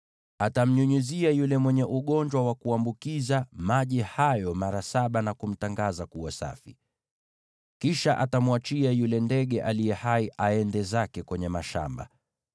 Atamnyunyizia yule mwenye ugonjwa wa kuambukiza maji hayo mara saba, na kumtangaza kuwa safi. Kisha atamwachia yule ndege aliye hai aende zake kwenye mashamba.